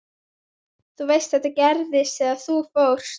Þú veist að þetta gerðist þegar þú fórst.